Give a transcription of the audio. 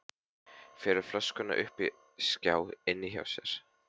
Felur flöskuna uppi í skáp inni hjá sér.